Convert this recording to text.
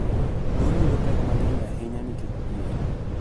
Mon yudo pek mang�eny ahinya nikech dhier